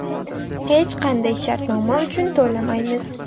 Hech qanday shartnoma uchun to‘lamaymiz.